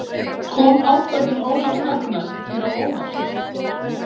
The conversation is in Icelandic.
Kom ákvörðun Ólafs Ragnars þér á óvart?